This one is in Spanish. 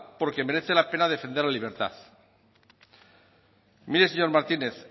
porque merece la pena defender la libertad mire señor martínez